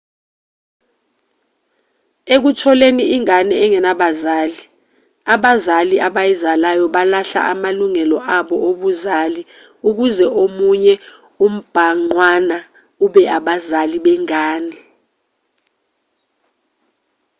ekutholeni ingane enganabazali abazali abayizalayo balahla amalungelo abo obuzali ukuze omunye umbhangqwana ube abazali bengane